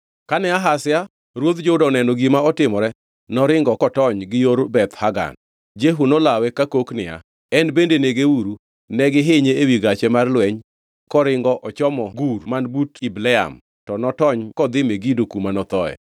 Kane Ahazia ruodh Juda oneno gima otimore noringo kotony gi yor Beth-Hagan. Jehu nolawe kakok niya, “En bende negeuru!” Ne gihinye ewi gache mar lweny koringo ochomo Gur man but Ibleam, to notony kodhi Megido kuma nothoe.